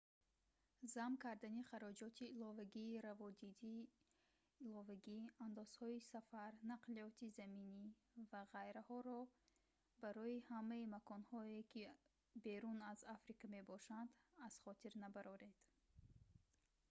зам кардани хароҷоти иловагии раводиди иловагӣ андозҳои сафар нақлиёти заминӣ ва ғайраҳоро барои ҳамаи маконҳое ки берун аз африка мебошанд аз хотир набароред